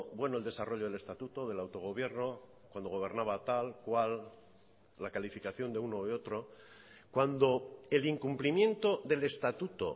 bueno el desarrollo del estatuto del autogobierno cuando gobernaba tal cual la calificación de uno o de otro cuando el incumplimiento del estatuto